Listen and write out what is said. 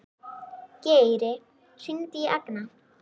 Geri, hringdu í Agna.